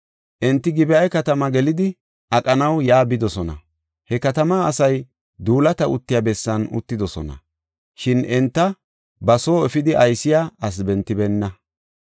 Enti Gib7a katamaa gelidi aqanaw yaa bidosona. He katamaa asay duulata uttiya bessan uttidosona; shin enta ba soo efidi aysiya asi bentibeenna.